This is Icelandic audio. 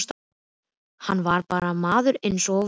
Hann var bara maður eins og við hinir.